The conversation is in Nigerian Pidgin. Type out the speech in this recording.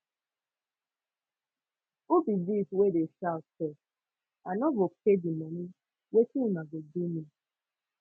who be dis wey dey shout sef i no go pay di money wetin una go do me